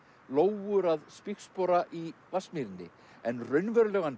lóur að spígspora í Vatnsmýrinni en raunverulegan